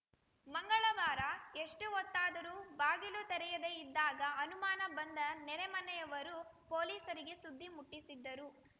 ಮಂಗಳವಾರ ಎಷ್ಟುಹೊತ್ತಾದರೂ ಬಾಗಿಲು ತೆರೆಯದೇ ಇದ್ದಾಗ ಅನುಮಾನ ಬಂದ ನೆರೆ ಮನೆಯವರು ಪೊಲೀಸರಿಗೆ ಸುದ್ದಿ ಮುಟ್ಟಿಸಿದ್ದರು